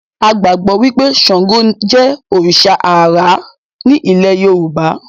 A gbàgbọ́ wí pé Ṣàǹgò jẹ́ òrìṣà àrá ní ilẹ́ẹ Yorùbá